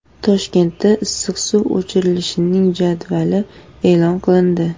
Toshkentda issiq suv o‘chirilishining jadvali e’lon qilindi.